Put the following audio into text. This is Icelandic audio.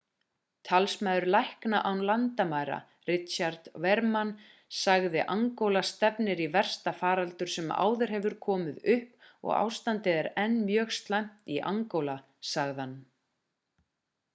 talsmaður lækna án landamæra richard veerman sagði angóla stefnir í versta faraldur sem áður hefur komið upp og ástandið er enn mjög slæmt í angóla sagði hann